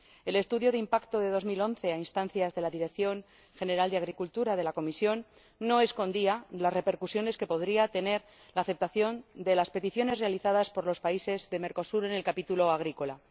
El estudio de impacto de 2011, a instancias de la Dirección General de Agricultura de la Comisión, no escondía las repercusiones que podría tener la aceptación de las peticiones realizadas por los países de Mercosur en el capítulo agrícola.